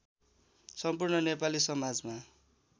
सम्पूर्ण नेपाली समाजमा